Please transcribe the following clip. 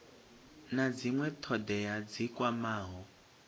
na dzinwe thodea dzi kwamaho